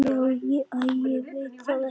Æi ég veit það ekki.